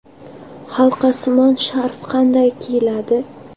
Halqasimon sharf qanday kiyiladi?.